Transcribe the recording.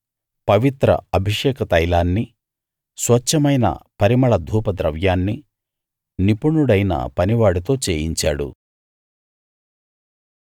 పవిత్ర అభిషేక తైలాన్నీ స్వచ్ఛమైన పరిమళ ధూపద్రవ్యాన్ని నిపుణుడైన పనివాడితో చేయించాడు